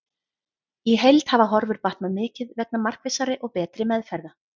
Í heild hafa horfur batnað mikið vegna markvissari og betri meðferða.